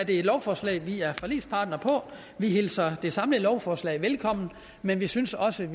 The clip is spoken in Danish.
et lovforslag vi er forligspartnere på og vi hilser det samlede lovforslag velkommen men vi synes også